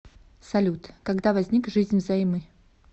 салют когда возник жизнь взаймы